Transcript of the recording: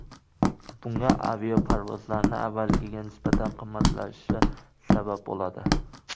Bunga aviaparvozlarning avvalgiga nisbatan qimmatlashishi sabab bo‘ladi.